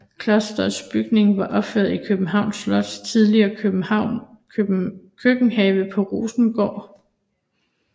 Klosters bygninger var opført i Københavns Slots tidligere køkkenhave på Rosengård